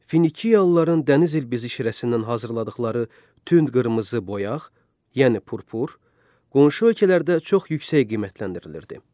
Finikiyalıların dəniz ilbizi şirəsindən hazırladıqları tünd qırmızı boyaq, yəni purpur, qonşu ölkələrdə çox yüksək qiymətləndirilirdi.